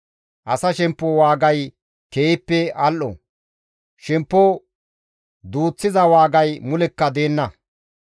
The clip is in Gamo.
Asa shemppo waagay keehippe al7o; shemppo duuththiza waagay mulekka deenna.